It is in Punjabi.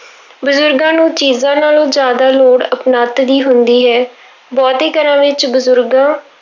ਬਜ਼ੁਰਗਾਂ ਨੂੰ ਚੀਜ਼ਾਂ ਨਾਲੋਂ ਜ਼ਿਆਦਾ ਲੋੜ ਆਪਣੱਤ ਦੀ ਹੁੰਦੀ ਹੈ, ਬਹੁਤੇ ਘਰਾਂ ਵਿੱਚ ਬਜ਼ੁਰਗਾਂ